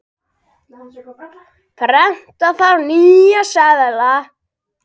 Prenta þarf nýja seðla.